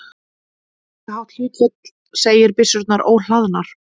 Álíka hátt hlutfall segir byssurnar óhlaðnar.